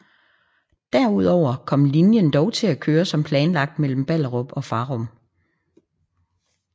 Derudover kom linjen dog til at køre som planlagt mellem Ballerup og Farum